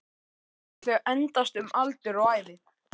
Megi þau endast um aldur og ævi